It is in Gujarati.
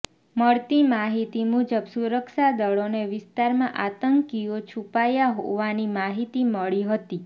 મળતી માહિતી મુજબ સુરક્ષાદળોને વિસ્તારમાં આતંકીઓ છૂપાયા હોવાની માહિતી મળી હતી